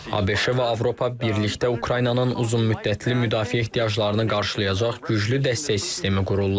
ABŞ-ə və Avropa birlikdə Ukraynanın uzunmüddətli müdafiə ehtiyaclarını qarşılayacaq güclü dəstək sistemi qururlar.